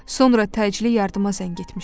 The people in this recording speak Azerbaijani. Sonra təcili yardıma zəng etmişdi.